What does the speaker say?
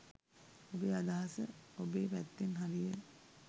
ඔබේ අදහස ඔබේ පැත්තෙන් හරිය